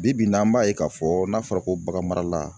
Bi bi in na an b'a ye k'a fɔ n'a fɔra ko baganmarala